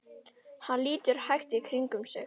Hann lítur hægt í kringum sig.